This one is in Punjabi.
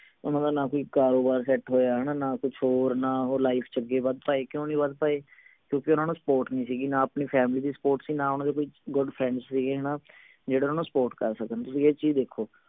ਓਹਨਾ ਦਾ ਨਾ ਕੋਈ ਕਾਰੋਬਾਰ ਸੈੱਟ ਹੋਇਆ ਹਣਾ ਨਾ ਕੁਛ ਹੋਰ ਨਾ ਉਹ life ਚ ਅੱਗੇ ਵੱਧ ਪਾਏ ਕਿਓਂ ਨਹੀਂ ਵੱਧ ਪਾਏ ਕਿਓਂਕਿ ਓਹਨਾ ਨੂੰ support ਨਹੀਂ ਸੀ ਗੀ ਨਾ ਆਪਣੀ family ਦੀ support ਸੀ ਨਾ ਓਹਨਾ ਦੇ ਕੋਈ good friends ਸੀ ਗੇ ਹਣਾ ਜਿਹੜੇ ਓਹਨਾ ਨੂੰ support ਕਰ ਸਕਣ ਤੁਸੀਂ ਇਹ ਚੀਜ ਦੇਖੋ